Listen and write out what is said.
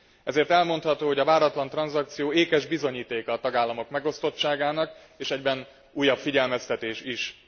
Ezért elmondható, hogy a váratlan tranzakció ékes bizonyítéka a tagállamok megosztottságának, és egyben újabb figyelmeztetés is.